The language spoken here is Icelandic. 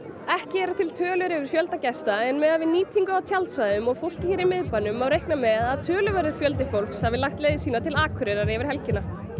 ekki eru til tölur yfir fjölda gesta en miðað við nýtingu á tjaldsvæðum og fólkið hér í miðbænum má reikna með að töluverður fjöldi hafi lagt leið sína til Akureyrar yfir helgina